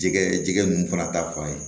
Jɛgɛ jɛgɛ ninnu fana ta fan ye